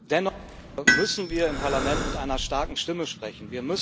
Dennoch müssen wir im Parlament mit einer starken Stimme sprechen.